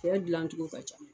Fɛn dilancogo ka ca